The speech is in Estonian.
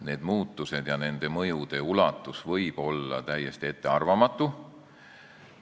Need muutused ja nende mõjude ulatus võivad olla täiesti ettearvamatud.